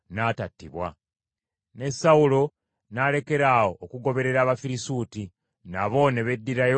Ne Sawulo n’alekeraawo okugoberera Abafirisuuti, nabo ne beddirayo mu nsi yaabwe.